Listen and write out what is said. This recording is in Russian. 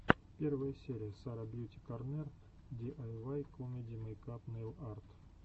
первая серия сара бьюти корнер ди ай вай комеди мейкап нейл арт